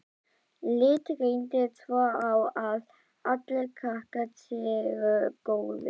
Lít reyndar svo á að allir krakkar séu góðir.